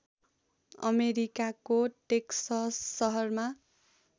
अमेरिकाको टेक्सस सहरमा